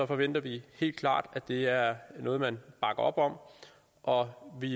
forventer vi helt klart at det er noget man bakker op om og vi